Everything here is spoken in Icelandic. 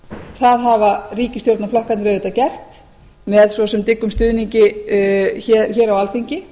það hafa ríkisstjórnarflokkarnir auðvitað gert með svo sem dyggum stuðningi hér á alþingi